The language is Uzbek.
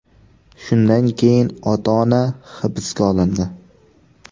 Shundan keyin ota-ona hibsga olindi.